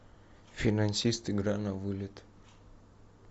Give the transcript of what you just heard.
финансист игра на вылет